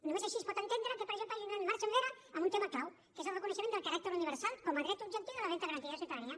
només així es pot entendre que per exemple hagin fet marxa enrere en un tema clau que és el reconeixement del caràcter universal com a dret objectiu de la renda garantida de ciutadania